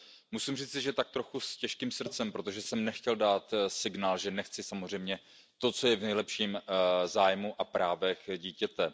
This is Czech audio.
Musím říci, že tak trochu s těžkým srdcem, protože jsem nechtěl dát signál, že nechci samozřejmě to, co je v nejlepším zájmu a právu dítěte.